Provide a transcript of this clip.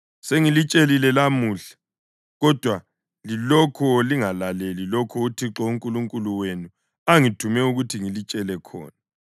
Sengilitshelile lamuhla, kodwa lilokhu lingalaleli lokho uThixo uNkulunkulu wenu angithume ukuthi ngilitshele khona.